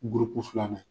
filanan ye